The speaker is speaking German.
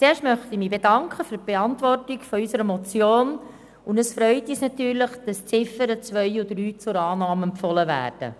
Zuerst möchte ich mich für die Beantwortung unserer Motion bedanken, und es freut uns natürlich, dass die Ziffern 2 und 3 zur Annahme empfohlen werden.